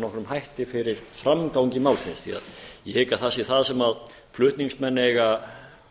nokkrum hætti fyrir framgangi málsins því ég hygg að það sé það sem flutningsmenn eiga